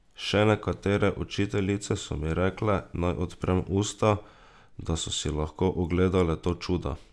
Še nekatere učiteljice so mi rekle, naj odprem usta, da so si lahko ogledale to čudo.